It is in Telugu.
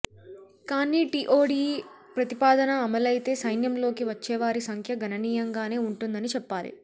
కానీ టీఓడీ ప్రతిపాదన అమలైతే సైన్యంలోకి వచ్చేవారి సంఖ్య గణనీయంగానే వుంటుందని చెప్పాలి